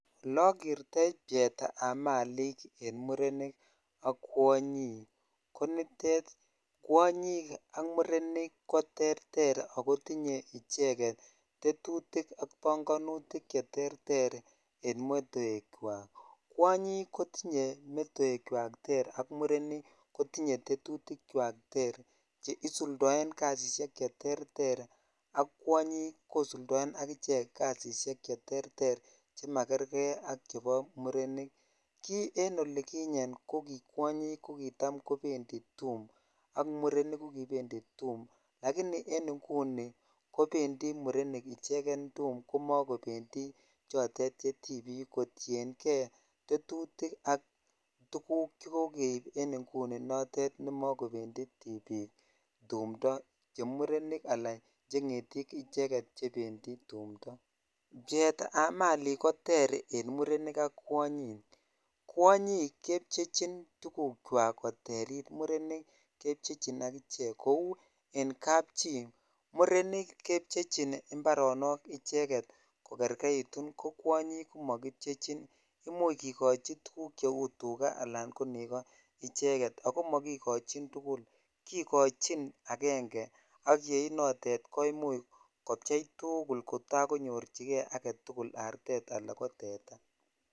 Olekertoi pcheetab malik en murenik ak kwonyik ko nitet kwonyk ak murenik ko tereter ak kotinye icheket tetutik ak bong'onutik cheterter en metoekwak, kwonyik kotinye metoekwak ter ak murenik kotinye tetutikwak ter che isuldoen kasisiek cheterter ak kwonyik kosuldoen ak ichek kasisiek cheterter chemakerke ak chebo murenik, kii en olikinye ko kitam kobendi tuum ak murenik kokibendi tuum lakini en inguni murenik icheken tuum komokobendi chotet che tibik kotieng'e tetutik ak tukuk chekokeib inguni notet nemokobendi tibiik tumndo, chemurenik alaa chengetik icheken chebendi tumndo, pcheetab malik koter en murenik ak kwanyik, kwonyik kepchechin tukukwak koterit murenik kepchechin akichek kouu en kapchi murenik kepchechin mbaronok icheket ko kerkeitun ko kwonyik ko mokipchechin imuch kikochi tukuk cheu tukaa alaan ko nekoo icheket ak ko mokikochin tukul, kikochin akenge ak yei notet ko imuch kopchei tukul kotakonyorchike aketukul artet alaa ko teta.